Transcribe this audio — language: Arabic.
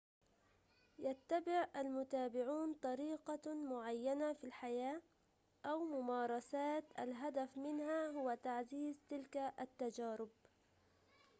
يتبع المتابعون طريقة معينة في الحياة أو ممارسات الهدف منها هو تعزيز تلك التجارب